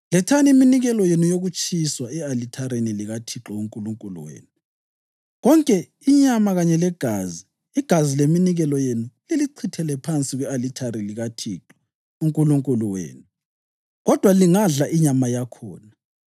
Lethani iminikelo yenu yokutshiswa e-alithareni likaThixo uNkulunkulu wenu, konke inyama kanye legazi. Igazi leminikelo yenu lilichithele phansi kwe-alithari likaThixo uNkulunkulu wenu, kodwa lingadla inyama yakhona.